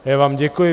Já vám děkuji.